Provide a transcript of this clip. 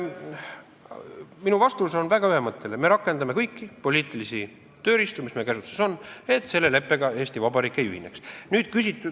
Minu vastus on väga ühemõtteline: me rakendame kõiki poliitilisi tööriistu, mis meie käsutuses on, et Eesti Vabariik selle leppega ei ühineks.